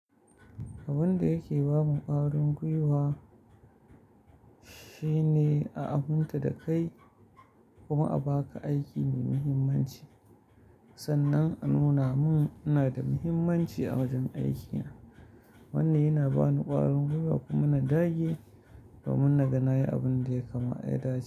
Abun da yake ba mun ƙwarin gwiwa shine a aminta da kai kuma a ba ka aiki mai muhimmanci, sannan a nuna mun ina da muhimmanci a wajen aikin. Wannan yana ba ni ƙwarin gwiwa kuma na dage domin naga na yi abun da ya dace.